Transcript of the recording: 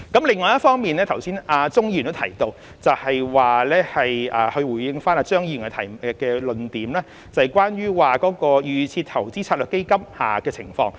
另一方面，正如剛才鍾議員亦有提到，是他回應張議員的論點，即關於預設投資策略成分基金的情況。